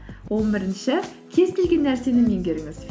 он бірінші кез келген нәрсені меңгеріңіз